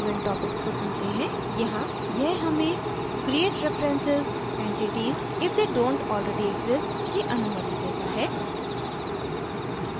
event topics को चुनते हैं यहाँ यह हमें create references entities if they dont already exist की अनुमति देता है